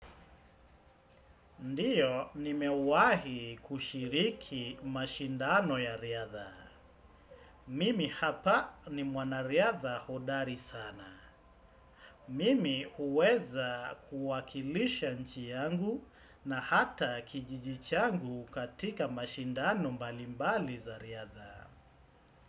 Ndio, nimewahi kushiriki mashindano ya riadha. Mimi hapa ni mwanariadha hodari sana. Mimi huweza kuwakilisha nchi yangu na hata kijiji changu katika mashindano mbalimbali za riadha.